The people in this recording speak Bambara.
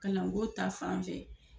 Kalanko ta fan fɛ.